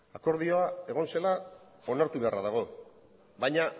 akordio egon zela onartu beharra dago baina